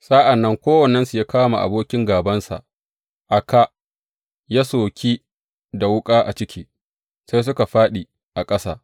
Sa’an nan kowannensu ya kama abokin gābansa a kā ya soki da wuƙa a jiki, sai duka suka fāɗi a ƙasa.